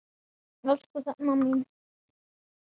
Elsku Hrefna mín.